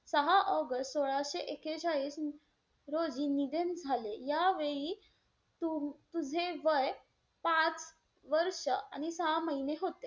सहा ऑगस्ट सोळाशे एकेचाळीस रोजी निधन झाले. यावेळी तू~ तझे वय पाच वर्ष आणि सहा महिने होते.